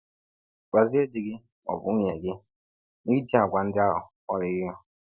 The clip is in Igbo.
Gwazie di gị ma ọ bụ nwunye gị na i ji àgwà ndị ahụ kpọrọ ihe.